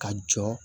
Ka jɔ